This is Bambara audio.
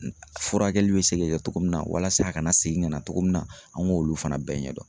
Furakɛli bɛ se ka kɛ togo min na walasa a kana segin ka na togo min na an ŋ'olu fana bɛɛ ɲɛ dɔn.